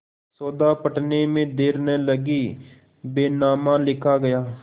सौदा पटने में देर न लगी बैनामा लिखा गया